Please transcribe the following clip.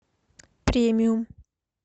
премиум